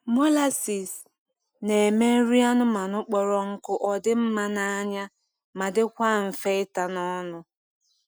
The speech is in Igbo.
Molases na eme nri anụmanụ kpọrọ nkụ odi mma na anya ma dikwa nfe ita n’ ọnụ